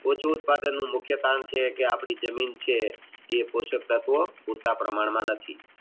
ઓછું ઉત્પાદનનું મુખ્ય કારણ છે કે આપણી જમીન છે એ પોશાક તત્વો પાત્ર પ્રમાણ માં નથી